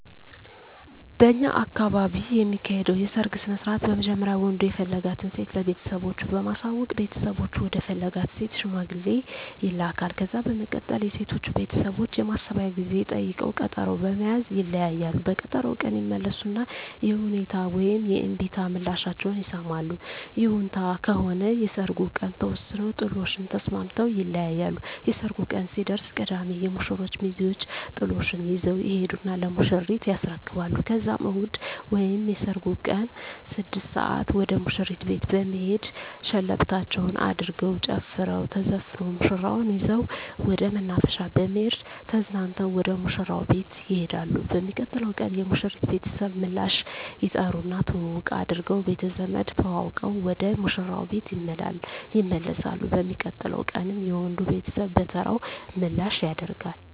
በእኛ አካባቢ የሚካሄደዉ የሰርግ ስነስርአት በመጀመሪያ ወንዱ የፈለጋትን ሴት ለቤተሰቦቹ በማሳወቅ ቤተሰቦቹ ወደ ፈለጋት ሴት ሽማግሌ ይላካል። ከዛ በመቀጠል የሴቶቹ ቤተሰቦች የማሰቢያ ጊዜ ጠይቀዉ ቀጠሮ በመያዝ ይለያያሉ። በቀጠሮዉ ቀን ይመለሱና የይሁንታ ወይም የእምቢታ ምላሻቸዉን ይሰማሉ። ይሁንታ ከሆነ የሰርጉ ቀን ተወስኖ ጥሎሹን ተስማምተዉ ይለያያሉ። የሰርጉ ቀን ሲደርስ ቅዳሜ የሙሽሮቹ ሚዜወች ጥሎሹን ይዘዉ ይሄዱና ለሙሽሪት ያስረክባሉ ከዛም እሁድ ወይም የሰርጉ ቀን 6 ሰአት ወደ ሙሽሪት ቤት በመሄድ ሸለበታቸዉን አድርገዉ ተጨፍሮ ተዘፍኖ ሙሽራዋን ይዘዉ ወደ መናፈሻ በመሄድ ተዝናንተዉ ወደ ሙሽራዉ ቤት ይሄዳሉ። በሚቀጥለዉ ቀን የሙሽሪት ቤተሰብ ምላሽ ይጠሩና ትዉዉቅ አድርገዉ ቤተዘመድ ተዋዉቀዉ ወደ ሙሽራዉ ቤት ይመለሳሉ። በሚቀጥለዉ ቀንም የወንዱ ቤተሰብ በተራዉ ምላሽ ያደ